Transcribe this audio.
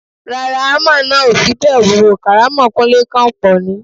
Rárá, hámà náà ò fi bẹ́ẹ̀ wúwo, kàrámọ̀ Kúńlé kọ̀ pọ̀ ni.